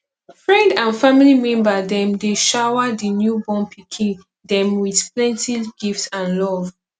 friend and family member dem dey shower di newborn pikin dem with plenty gift and love